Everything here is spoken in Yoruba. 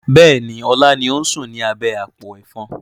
Bẹ́ẹ̀ni, ọlá ni ó ń sùn ni abẹ́ àpò Ẹ̀fọn.